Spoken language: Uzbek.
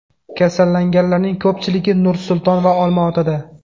Kasallanganlarning ko‘pchiligi Nur-Sulton va Olmaotada.